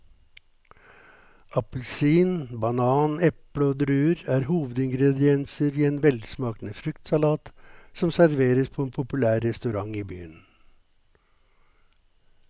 Appelsin, banan, eple og druer er hovedingredienser i en velsmakende fruktsalat som serveres på en populær restaurant i byen.